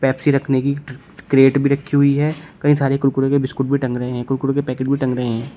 Pepsi रखने की crate भी रखी हुई है कई सारे कुरकुरे के बिस्कुट भी टंग रहे हैं कुरकुरे के पैकेट भी टंग रहे हैं।